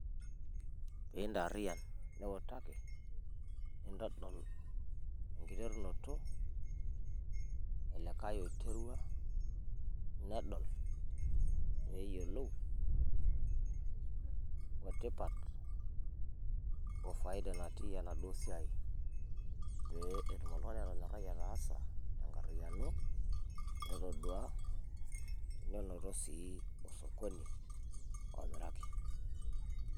Pee intaarian niutaki nintodol enkiterunoto olikae oiterua nedol peeyiolou otipat ofaida natii enaduo siaai peetum oltung'ani atonyorai ataasa tenkariano etodua nenoto sii osokoni omiraki.